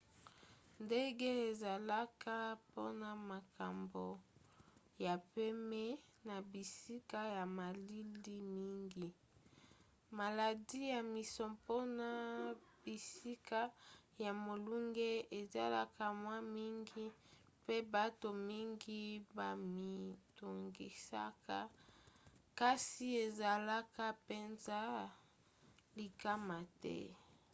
ndenge ezalaka mpona makambo ya pema na bisika ya malili mingi maladi ya misompona bisika ya molunge ezalaka mwa mingi mpe bato mingi bamitungisaka kasi ezalaka mpenza likama te